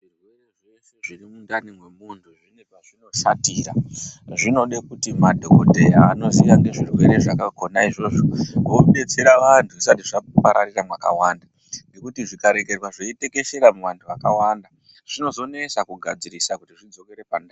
Zvirwere zveshe zviri mundani memuntu zvine pazvinoshatira zvine pazvinoshatira anoziya nezvirwere zvakona kobetsera vantu zvisati zvaderera makawanda ngekuti zvikarekerwa zvakatekeshera makawanda zvinozonesa kugadzirisa kuti zvidzokere pandau.